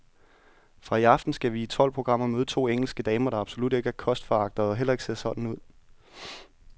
Fra i aften skal vi i tolv programmer møde to engelske damer, der absolut ikke er kostforagtere og heller ikke ser sådan ud.